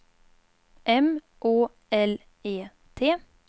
M Å L E T